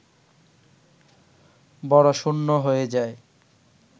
বড় শূন্য হয়ে যায়